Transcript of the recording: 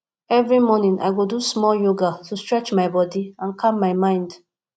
every morning i go do small yoga to stretch my body and calm my mind